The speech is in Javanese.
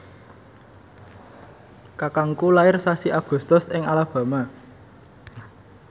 kakangku lair sasi Agustus ing Alabama